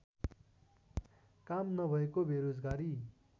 काम नभएको बेरोजगारी